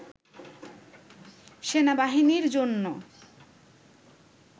সেনাবাহিনীর জন্য